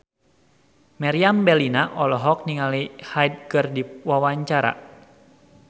Meriam Bellina olohok ningali Hyde keur diwawancara